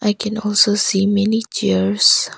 I can also see many chairs.